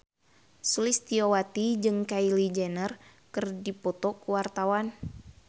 Sulistyowati jeung Kylie Jenner keur dipoto ku wartawan